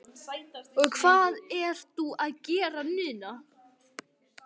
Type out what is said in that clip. Og hvað ertu að gera núna?